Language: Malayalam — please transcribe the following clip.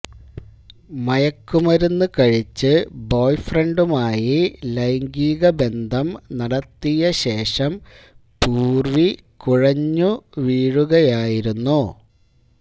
മയക്കുമരുന്നു കഴിച്ച് ബോയ്ഫ്രണ്ടുമായി ലൈംഗിക ബന്ധം നടത്തിയ ശേഷം പൂര്വി കുഴഞ്ഞുവീഴുകയായിരുന്നു